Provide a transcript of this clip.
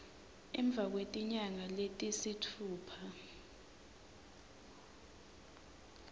emva kwetinyanga letisitfupha